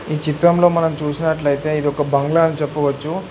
ఈ చిత్రంలో మనం చూసినట్లయితే ఇది ఒక బంగ్లా అని చెప్పవచ్చు.